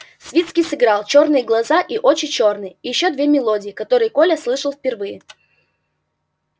свицкий сыграл чёрные глаза и очи чёрные и ещё две мелодии которые коля слышал впервые